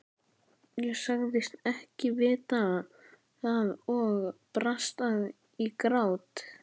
Ég sagðist ekki vita það og brast í grát.